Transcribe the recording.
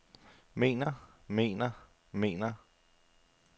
mener mener mener